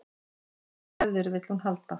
Í þessar hefðir vill hún halda